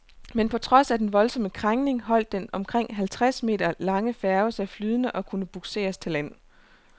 Men på trods af den voldsomme krængning holdt den omkring halvtreds meter lange færge sig flydende og kunne bugseres til land.